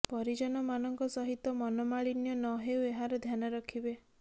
ପରିଜନମାନଙ୍କ ସହିତ ମନମାଳିନ୍ୟ ନ ହେଉ ଏହାର ଧ୍ୟାନ ରଖିବେ